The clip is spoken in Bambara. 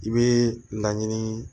I bɛ laɲini